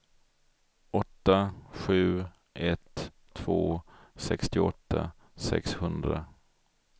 åtta sju ett två sextioåtta sexhundra